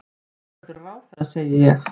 Þú verður ráðherra, segi ég.